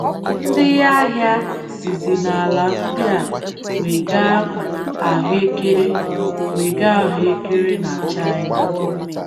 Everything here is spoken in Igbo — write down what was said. Ndị ahịa sizi n’ala ndị a wega ahụekere wega ahụekere na China.